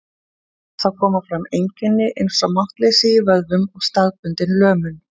Þá koma fram einkenni eins og máttleysi í vöðvum og staðbundin lömun.